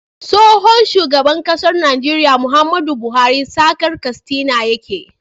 Tsohon shugaban ƙasar Nigeria Muhammadu buhari saga katsina yake